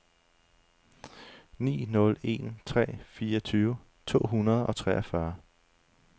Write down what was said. ni nul en tre fireogtyve to hundrede og treogfyrre